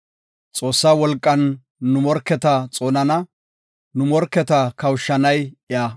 Xoossaa wolqan nu morketa xoonana; nu morketa kawushanay iya.